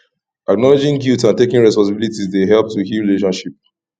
acknowledging guilt and taking responsibility dey help to heal relationship